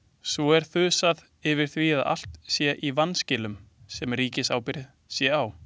Svo er þusað yfir því að allt sé í vanskilum sem ríkisábyrgð sé á.